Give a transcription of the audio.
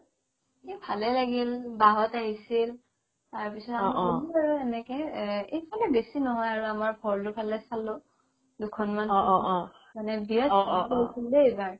এহ ভালে লাগিল বা হ'ত আহিছিল তাৰ পিছত আমি গ'লো আৰু এনেকে আ এইফালে বেছি নহয় ভৰলো ফালে চালো দুখন মান মানে বিৰাত বৰষুণ দেই এইবাৰ